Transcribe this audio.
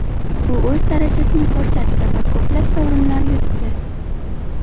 U o‘z darajasini ko‘rsatdi va ko‘plab sovrinlar yutdi.